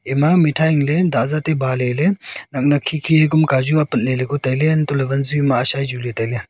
ema mithai ang le dazat se ba le ley nak nak khi khi ku ma kaju apat le ku tai ley antoh ley wanzu ma .]